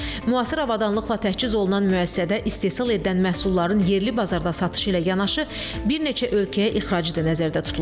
Müasir avadanlıqla təchiz olunan müəssisədə istehsal edilən məhsulların yerli bazarda satışı ilə yanaşı bir neçə ölkəyə ixracı da nəzərdə tutulur.